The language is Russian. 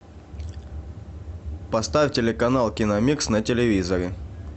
поставь телеканал киномикс на телевизоре